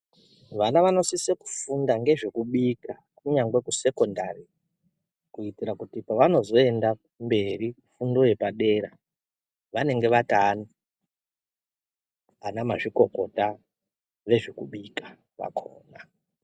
Vana vanosise kufunda ngezvekubika kunyangwe kusecondary kuitira kuti pavanozoenda kumberi fundo yepadera vanenge vata ana mazvikokota vezvekubika kwakhona.